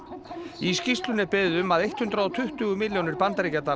í skýrslunni er beðið um að hundrað og tuttugu milljónir bandaríkjadala